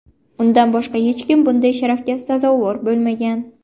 Undan boshqa hech kim bunday sharafga sazovor bo‘lmagan.